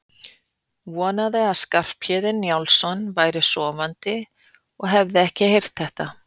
Vonaði að Skarphéðinn Njálsson væri sofandi og hefði ekki heyrt þetta.